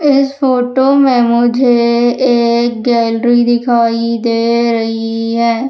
इस फोटो में मुझे एक गैलरी दिखाई दे रही है।